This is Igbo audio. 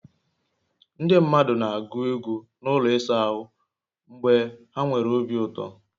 Ndị mmadụ na-agụ egwụ n'ụlọ ịsa ahụ mgbe ha nwere obi ụtọ